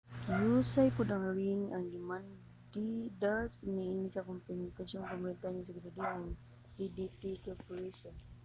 gihusay pod ang ring ang demanda niini sa kakompetensiyang kompanya sa seguridad ang adt corporation